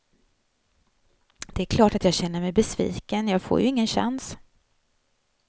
Det är klart att jag känner mig besviken, jag får ju ingen chans.